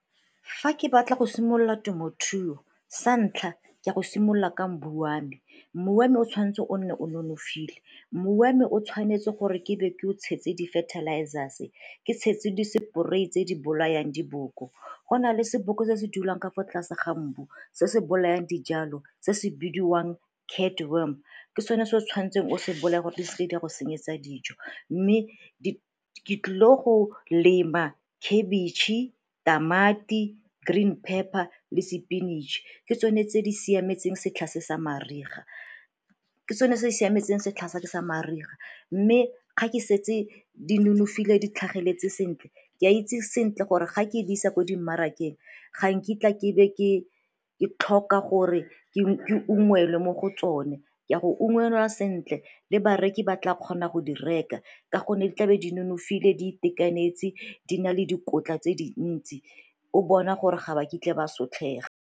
Fa ke batla go simolola temothuo sa ntlha ka go simolola ka mbu wa me, mbu wa me o tshwanetse o nne o nonofile mmu wa me o tshwanetse gore ke be ke o tshetse di-fertilizers-e, ke tshetse di-spray-i tse di bolayang diboko. Go na le seboka se se dulang ka fa tlase ga mbu se se bolayang dijalo se se bidiwang Catworm, ke sone se o tshwanetseng o se bolaya gore di seke di a go senyetsa dijo. Mme ke tlile go lema khabitšhe, tamati, green pepper le sepinatšhe ke tsone tse di siametseng setlha se sa mariga. Ke tsone tse siametseng setlha se sa mariga mme ga ke setse di nonofile di tlhageletse sentle, ke a itse sentle gore ga ke di isa ko dimarakeng ga nkitla ke be ke tlhoka gore ke ungwelwe mo go tsone ke a go ungwelwa sentle le bareki ba tla kgona go di reka ka gonne di tlabe di nonofile, di itekanetse di na le dikotla tse dintsi o bona gore ga ba kitla ba sotlega.